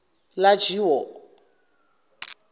lajiwo